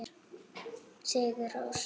Sigur Rós.